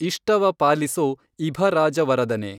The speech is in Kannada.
ಇಷ್ಟವ ಪಾಲಿಸೊ ಇಭರಾಜವರದನೆ।